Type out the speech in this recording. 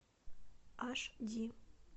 аш ди